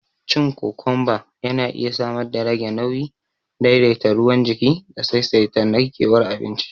Cin kokomba yana iya samar darage nauyi, daidaita ruwan jiki da saisaita narkewar abinci